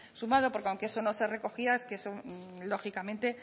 sumado porque aunque eso no se recogía eso lógicamente